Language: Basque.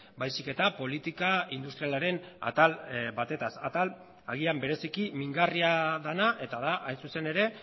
baizik eta politika industrialaren atal batez atal agian bereziki mingarria dena eta da hain zuzen ere